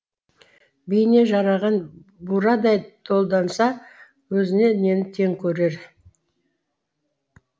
бейне жараған бурадай долданса өзіне нені тең көрер